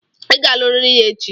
Ị ga-aluriri ya echi!